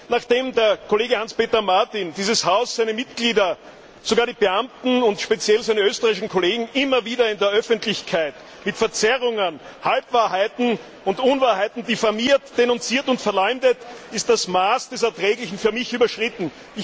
Nachdem der Kollege Hans Peter Martin dieses Haus, seine Mitglieder, sogar die Beamten und speziell seine österreichischen Kollegen immer wieder in der Öffentlichkeit mit Verzerrungen, Halbwahrheiten und Unwahrheiten diffamiert, denunziert und verleumdet, ist das Maß des Erträglichen für mich überschritten.